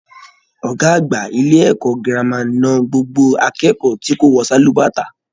Ọgá àgbà ilé ẹ̀kọ́ gírámà na gbogbo akẹ́kọ̀ọ́ tí kò wọ sálúbàtà.